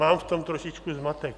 Mám v tom trošičku zmatek.